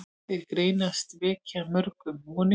Þær greinar vekja mörgum vonir.